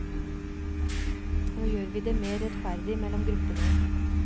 Nå gjør vi det mer rettferdig mellom gruppene.